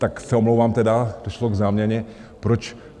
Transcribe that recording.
Tak se omlouvám tedy, došlo k záměně...